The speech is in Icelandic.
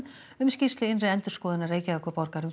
um skýrslu innri endurskoðunar Reykjavíkurborgar um